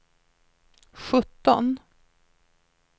sjutton